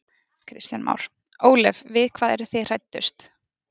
Kristján Már: Ólöf við hvað eru þið hræddust?